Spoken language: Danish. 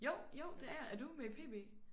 Jo jo det er jeg er du med i PB?